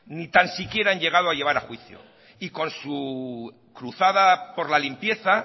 ni tan siquiera han llegado a llevar a juicio y con su cruzada por la limpieza